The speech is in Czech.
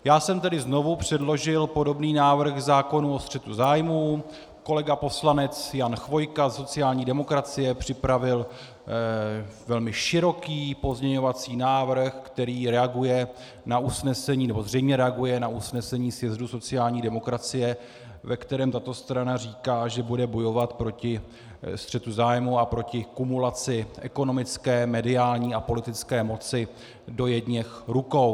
Já jsem tedy znovu předložil podobný návrh zákona o střetu zájmů, kolega poslanec Jan Chvojka ze sociální demokracie připravil velmi široký pozměňovací návrh, který reaguje na usnesení, nebo zřejmě reaguje na usnesení sjezdu sociální demokracie, ve kterém tato strana říká, že bude bojovat proti střetu zájmů a proti kumulaci ekonomické, mediální a politické moci do jedněch rukou.